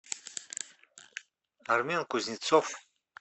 армен кузнецов